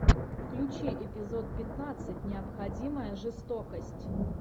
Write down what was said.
включи эпизод пятнадцать необходимая жестокость